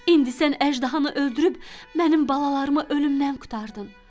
İndi sən əjdahanı öldürüb mənim balalarıma ölümdən qurtardın.